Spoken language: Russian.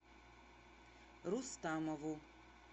рустамову